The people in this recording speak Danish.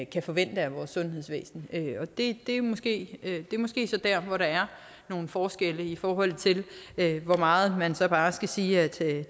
kan forvente af vores sundhedsvæsen og det er måske måske så der hvor der er nogle forskelle i forhold til hvor meget man så bare skal sige at